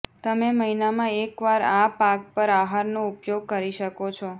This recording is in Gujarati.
તમે મહિનામાં એકવાર આ પાક પર આહારનો ઉપયોગ કરી શકો છો